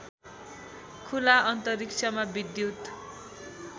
खुला अन्तरिक्षमा विद्युत